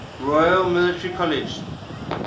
royal military college